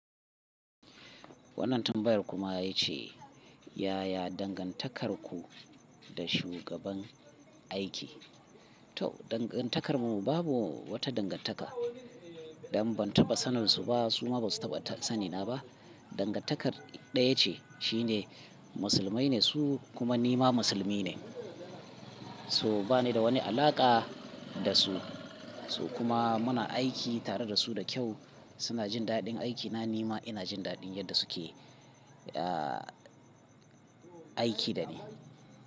Wannan tambayarku ya ce, yaya dangantakarku da shugaban aiki? To, dangantakarmu babu wata dangantaka dan ban taɓa saninsu ba suma basu taɓa sanina ba. Dangantakar ɗaya ce shine musulmai ne su kuma nima musulmi ne. So bani da wani alaƙa da su. So kuma muna aiki tare da su da kyau. Suna jin daɗin aikina nima ina jin daɗin yadda suke, aah aiki da ni.